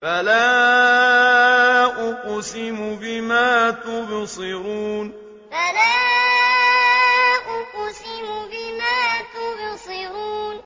فَلَا أُقْسِمُ بِمَا تُبْصِرُونَ فَلَا أُقْسِمُ بِمَا تُبْصِرُونَ